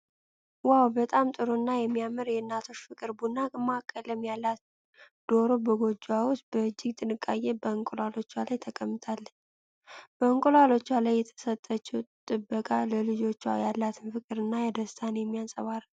ዋው! በጣም ጥሩና የሚያምር የእናቶች ፍቅር! ቡናማ ቀለም ያላት ዶሮ በጎጆዋ ውስጥ በእጅግ ጥንቃቄ በእንቁላሎቿ ላይ ተቀምጣለች። በእንቁላሎቿ ላይ የሰጠችው ጥበቃ ለልጆቿ ያላትን ፍቅርና ደስታ የሚያንጸባርቅ ነው።